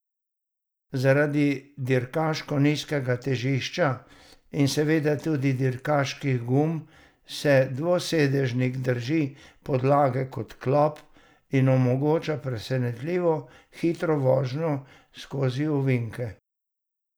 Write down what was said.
Zaradi dirkaško nizkega težišča in seveda tudi dirkaških gum se dvosedežnik drži podlage kot klop in omogoča presenetljivo hitro vožnjo skozi ovinke.